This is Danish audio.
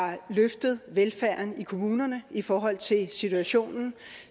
har løftet velfærden i kommunerne i forhold til situationen